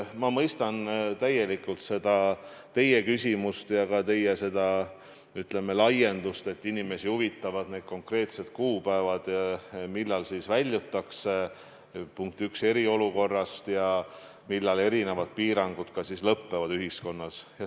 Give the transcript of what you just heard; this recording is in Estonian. Ma mõistan täielikult seda teie küsimust ja ka teie, ütleme, laiendust, et inimesi huvitavad konkreetsed kuupäevad, millal siis eriolukorrast väljutakse ja millal erinevad piirangud ühiskonnas lõppevad.